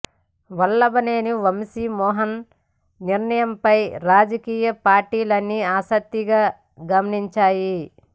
వల్లభనేని వంశీ మోహన్ నిర్ణయంపై రాజకీయ పార్టీలన్నీ ఆసక్తిగా గమనించాయి